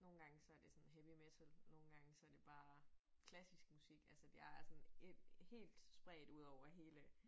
Nogle gange så det sådan heavy metal nogle gange så det bare klassisk musik altså det jeg sådan øh helt spredt udover hele